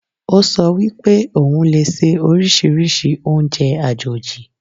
Ó sọ wípé òun lè se oríṣiríṣi oúnjẹ àjòjì